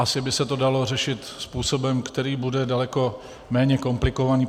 Asi by se to dalo řešit způsobem, který bude daleko méně komplikovaný.